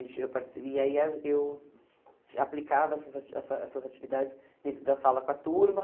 Gente eu partici e aí ah eu aplicava essas ati essa essas atividades dentro da sala com a turma.